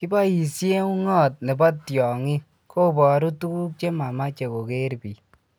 kiboisie ungot ne bo tiongink koboru tukuk che mamache koker biik